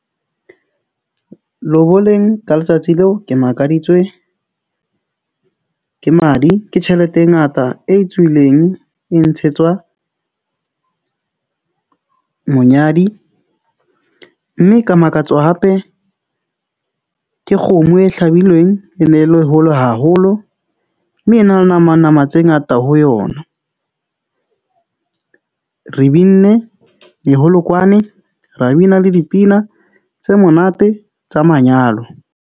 Loboleng ka letsatsi leo, ke makaditswe ke madi, ke tjhelete e ngata e tswileng. E ntshetswa monyadi, mme ka makatswa hape ke kgomo e hlabilweng. E ne e le hole haholo mme e na le nama nama tse ngata ho yona. Re binne meholokwane, ra bina le dipina tse monate tsa manyalo.